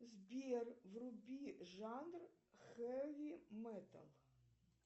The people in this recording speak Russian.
сбер вруби жанр хеви метал